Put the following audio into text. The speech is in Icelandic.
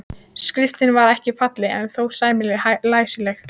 Skriftin var ekki falleg en þó sæmilega læsileg.